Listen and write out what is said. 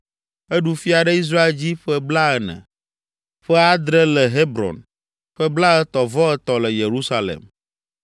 Eɖu fia ɖe Israel dzi ƒe blaene, ƒe adre le Hebron, ƒe blaetɔ̃-vɔ-etɔ̃ le Yerusalem.